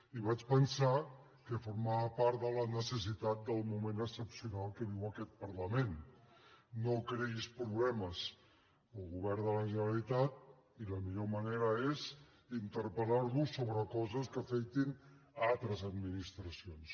i vaig pensar que formava part de la necessitat del moment excepcional que viu aquest parlament no creïs problemes al govern de la generalitat i la millor manera és interpel·lar los sobre coses que afectin altres administracions